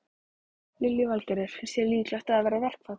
Lillý Valgerður: Finnst þér líklegt að það verði verkfall?